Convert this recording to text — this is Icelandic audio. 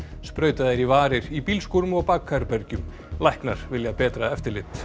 sprautað er í varir í bílskúrum og bakherbergjum læknar vilja betra eftirlit